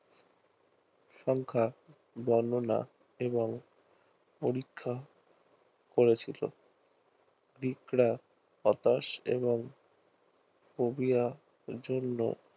সংখ্যা বর্ণনা এবং পরীক্ষা করেছিল হতাশ এবং phobia জন্য